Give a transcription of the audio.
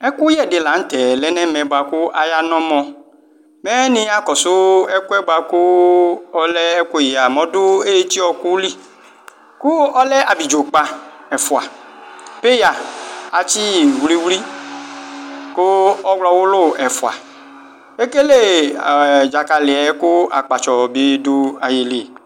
Ɛkʋyɛ di latɛ lɛnʋ ɛmɛ kʋ aya nɔ ɔmɔ mɛ niya kɔsʋ ɛkʋɛ bʋakʋ ɔlɛ ɛkʋyɛ ɔdʋ eti ɔkʋli kʋ ɔlɛ abidzo ɛfʋa peya atsiyi wli wli kʋ ɔwlɔwʋlʋ ɛfʋa ekele dzakaliɛ kʋ akpatsɔ bi dʋ ayili